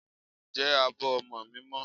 Ǹjẹ́ abọ́ ọmọ mi mọ́?